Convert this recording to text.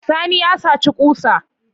Sani ya saci ƙusa